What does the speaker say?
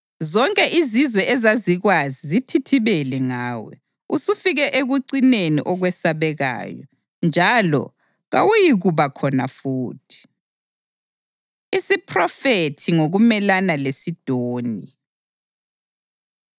Zonke izizwe ezazikwazi zithithibele ngawe; usufike ekucineni okwesabekayo njalo kawuyikuba khona futhi.’ ” Isiphrofethi Ngokumelana LeSidoni